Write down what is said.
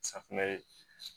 Safunɛ ye